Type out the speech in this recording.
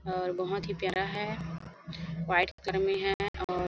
और बहोत ही प्यारा है वाइट कलर में है और--